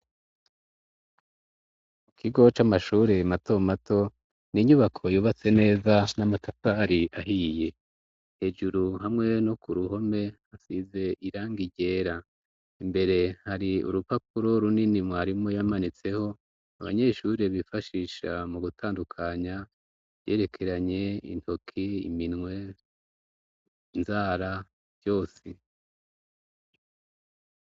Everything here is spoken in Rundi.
Mu kigoce amashure mato mato ni inyubako yubatse neza n'amatatari ahiye hejuru hamwe no ku ruhome hasize iranga iryera imbere hari urupapuro runini mwarimo yamanitseho abanyeshure bifashisha mu gutandukanya yerekeranye intoki iminwe nzara vyose.